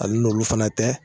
Hali n'olu fana tɛ